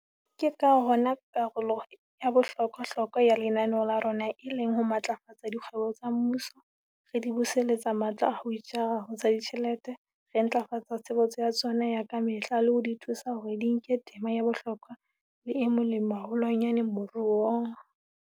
Ke ka hona karolo ya bohlokwa-hlokwa ya lenaneo la rona e leng ho matlafatsa dikgwebo tsa mmuso, re di buseletsa matla a ho itjara ho tsa ditjhelete, re ntlafatsa tshebetso ya tsona ya ka mehla le ho di thusa hore di nke tema ya bohlokwa le e molemo haholwanyane moruong.